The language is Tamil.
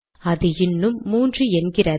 அது இன்னும் 3 என்கிறது